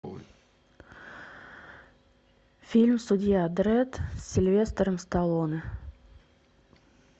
фильм судья дредд с сильвестром сталлоне